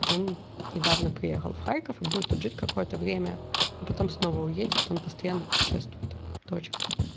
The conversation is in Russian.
он недавно приехал в харьков и будет тут жить какое-то время а потом снова уедет он постоянно путешествует точка